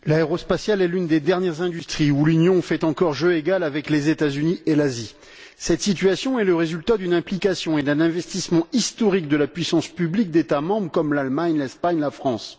Monsieur le Président, l'aérospatiale est l'une des dernières industries où l'Union fait encore jeu égal avec les États Unis et l'Asie. Cette situation est le résultat d'une implication et d'un investissement historiques de la puissance publique d'États membres comme l'Allemagne, l'Espagne et la France.